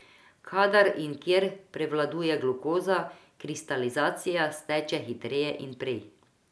Kadar in kjer prevladuje glukoza, kristalizacija steče hitreje in prej.